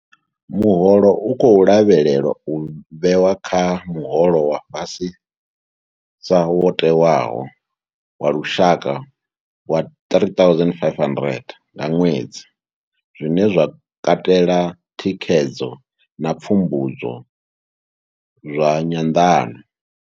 Muholo u khou lavhelelwa u vhewa kha muholo wa fhasisa wo tewaho wa lushaka wa 3 500 nga ṅwedzi, zwine zwa katela thikhedzo na pfumbudzo zwa nyanḓano.